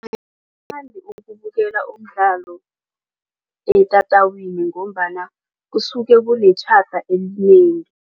ukubukela umdlalo etatawini ngombana kusuke kunetjhada elinengi.